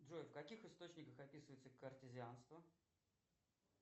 джой в каких источниках описывается картезианство